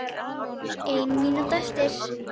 Ein mínúta eftir.